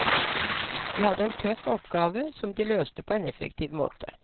De hadde en tøff oppgave som de løste på en effektiv måte.